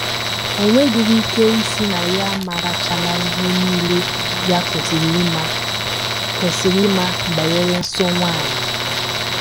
O nwedịrị ike ịsị na ya amarachaala ihe nile ya kwesịrị ịma kwesịrị ịma banyere nsọ nwanyị.